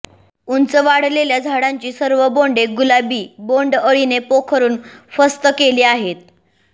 उंच वाढलेल्या झाडांची सर्व बोंडे गुलाबी बोंडअळीने पोखरून फस्त केली आहेत